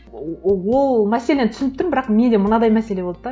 ол мәселені түсініп тұрмын бірақ менде мынадай мәселе болды да